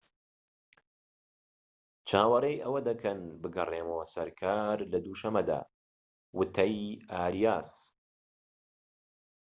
چاوەڕێی ئەوە دەکەن بگەڕێمەوە سەر کار لە دووشەمەدا وتەی ئاریاس